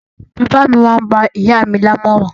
Bàbá mi máá ń gba ìyá mi lámọ̀ràn